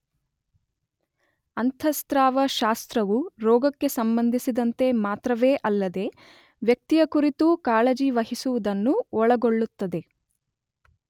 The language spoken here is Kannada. ಅಂತಃಸ್ರಾವ ಶಾಸ್ತ್ರವು ರೋಗಕ್ಕೆ ಸಂಬಂಧಿಸಿದಂತೆ ಮಾತ್ರವೇ ಅಲ್ಲದೇ ವ್ಯಕ್ತಿಯ ಕುರಿತೂ ಕಾಳಜಿವಹಿಸುವುದನ್ನು ಒಳಗೊಳ್ಳುತ್ತದೆ.